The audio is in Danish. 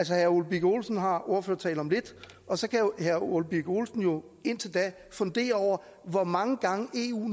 herre ole birk olesen har ordførertale om lidt og så kan herre ole birk olesen jo indtil da fundere over hvor mange gange eu